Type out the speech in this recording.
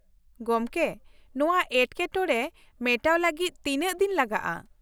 ᱜᱚᱢᱠᱮ, ᱱᱚᱶᱟ ᱮᱴᱠᱮᱴᱚᱬᱮ ᱢᱮᱴᱟᱣ ᱞᱟᱹᱜᱤᱫ ᱛᱤᱱᱟᱹᱜ ᱫᱤᱱ ᱞᱟᱜᱟᱜᱼᱟ ᱾